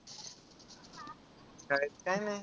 शाळेत काय नाय.